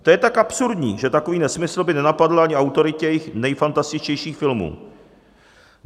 To je tak absurdní, že takový nesmysl by nenapadl ani autory těch nejfantastičtějších filmů.